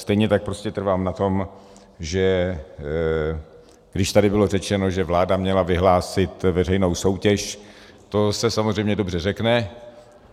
Stejně tak prostě trvám na tom, že když tady bylo řečeno, že vláda měla vyhlásit veřejnou soutěž, to se samozřejmě dobře řekne.